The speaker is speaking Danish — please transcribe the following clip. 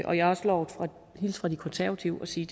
og jeg har også lovet at hilse fra de konservative og sige